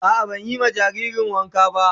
A'a ban yi ma jaririn wanka ba